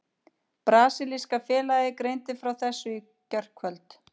Brasilíska félagið greindi frá þessu í gærkvöld.